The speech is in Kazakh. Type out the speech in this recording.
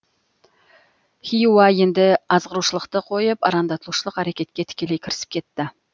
хиуа енді азғырушылықты қойып арандатушылық әрекетке тікелей кірісіп кетті